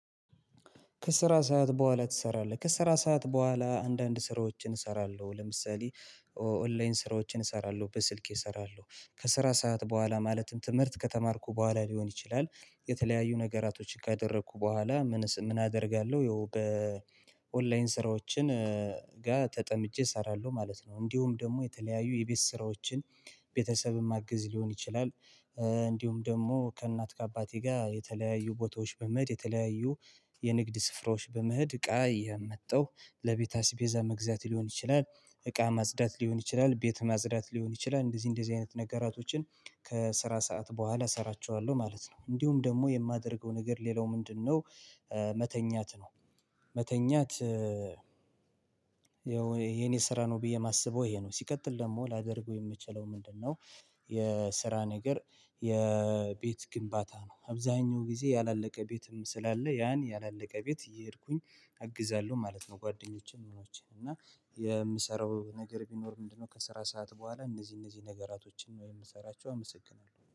ከስራ ሰዓት በኋላ ትሰራለህ? ከስራ ሰዓት በኋላ አንዳንድ ስራዎችን እሰራለሁ ለምሳሌ ኦንላይን ስራዎችን እሰራለሁ በስልኬ እሰራለሁ። ከስራ ሰዓት በኋላ ማለትም ትምህርት ከተማርኩ በኋላ ሊሆን ይችላል። የተለያዩ ነገራቶችን ካደረኩ በኋላ ምን አደርጋለሁ በኦንላይን ስራዎችን ጋር ተጠምጬ እሰራለሁ ማለት ነው። እንዲሁም ደግሞ የተለያዩ የቤት ስራዎችን ቤተሰብም ማግዝ ሊሆን ይችላል። እንዲሁም ደግሞ ከእናት ከአባቴ ጋር የተለያዩ ቦታዎች በመሄድ የተለያዩ የንግድ ስፍራዎች በምህድ እቃ የመጣው ለቤተ ሀሳቤዛ መግዛት ሊሆን ይችላል። እቃ ማጽዳት ሊሆን ይችላል ቤት ማዝዳት ሊሆን ይችላል። እንደዚህ እንደዚህ አይነት ነገራቶችን ከስራ ሰዓት በኋላ እሰራቸዋለሁ ማለት ነው። እንዲሁም ደግሞ የማደርገው ነገር ሌላው ምንድነው? መተኛት ነው። መተኛት የኔ ስራ ነው ብዬ የማስበው ይሄ ነው። ሲቀጥል ደግሞ ላደርገው የምችለው ምንድነው? የስራ ነገር የቤት ግንባታ ነው። አብዛኛው ጊዜ ያላለቀ ቤትም ስላለ ያን ያላለቀ ቤት እየሄድኩኝ አግዛለሁ ማለት ነው። ጓደኞቼ መኖቼን እና የምሰራው ነገር ቢኖር ምንድነው? ከስራ ሰዓት በኋላ እነዚህ እነዚህ ነገራቶችን ወይ የምሰራቸው አመሰግናለሁ